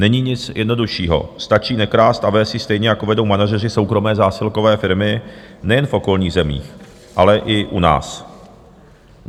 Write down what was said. Není nic jednoduššího - stačí nekrást a vést ji stejně, jako vedou manažeři soukromé zásilkové firmy nejen v okolních zemích, ale i u nás.